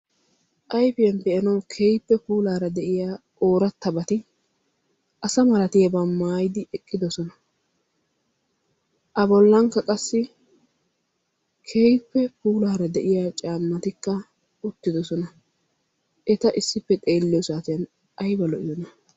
Ayfiyaan be'aanw keehippe puulara de'iyaara ooratabati oorataba maayyidi eqqidoosona. A bolllankka qassi keehippe puulara de'iyaa caamatikka wottidoosona. ta issippe xeeliyo saatiyaan aybba lo''iyoona!